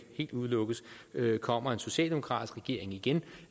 helt udelukkes kommer en socialdemokratisk regering igen